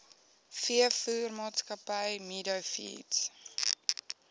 veevoermaatskappy meadow feeds